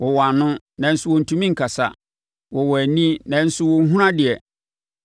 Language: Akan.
Wɔwɔ ano, nanso wɔntumi nkasa, wɔwɔ ani, nanso wɔnhunu adeɛ;